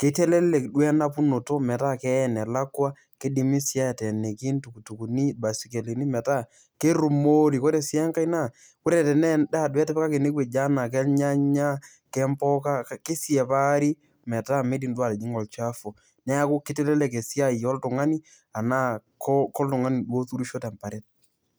kitelelek duo enapunoto metaa keyai enelakua kidimi sii ateeniki ntukutukuni imbasikelini metaa kerrumori kore sii enkae naa ore tenaa endaa duo etipikaki enewueji anaa kelnyanya kempuka kesiapari metaa midim duo atijing'a olchafu neeku kitelelek esiai ooltung'ani anaa koltung'ani duo oturisho temparet.